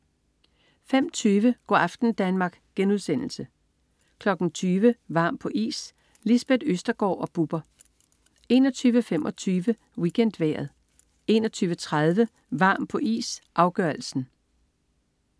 05.20 Go' aften Danmark* 20.00 Varm på is. Lisbeth Østergaard og Bubber 21.25 WeekendVejret 21.30 Varm på is, afgørelsen